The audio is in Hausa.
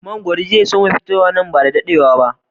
Mangoro zai su ma fitowa na gaba ba da daɗewa ba